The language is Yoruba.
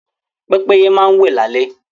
Pẹ́pẹ́yẹ máa wẹ́ lálé